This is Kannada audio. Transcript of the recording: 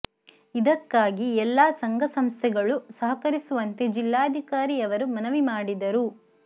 ಇದಕ್ಕಾಗಿ ಎಲ್ಲ ಸಂಘ ಸಂಸ್ಥೆಗಳು ಸಹಕರಿಸುವಂತೆ ಜಿಲ್ಲಾಧಿಕಾರಿ ಅವರು ಮನವಿ ಮಾಡಿದರು